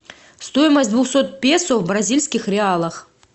стоимость двухсот песо в бразильских реалах